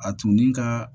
A tun ni ka